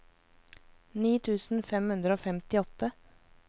ni tusen fem hundre og femtiåtte